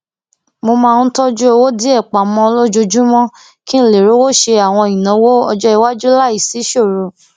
mo máa ń tójú owó díè pamó lójoojúmó kí n lè rówó ṣe àwọn ìnáwó ọjọiwájú láìsí ìṣòro